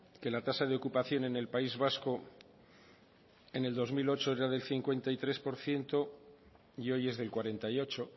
que la tasa de ocupación en el país vasco en el dos mil ocho era del cincuenta y tres por ciento y hoy es del cuarenta y ocho